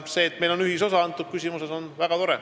See, et meil on selles küsimuses ühisosa, on väga tore.